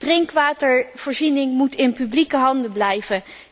Drinkwatervoorziening moet in publieke handen blijven.